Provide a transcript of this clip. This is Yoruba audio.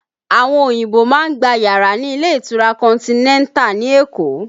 Àwọn òyìnbó má ń gba yàrá ní ilé ìtura Continental ní Èkó